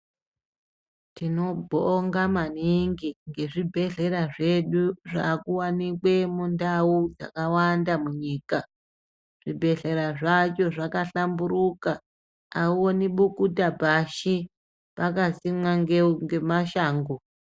Tinobonga maningi ngezvibhedhlera zvedu zvaakuwanikwe mundau dzakawanda munyika. Zvibhedhlera zvacho zvakahlamburuka, auoni bukuta pashi pakasimwa ngemashango.